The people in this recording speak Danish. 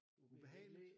Ubehageligt?